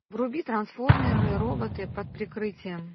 вруби трансформеры роботы под прикрытием